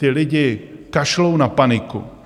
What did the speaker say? Ti lidé kašlou na paniku.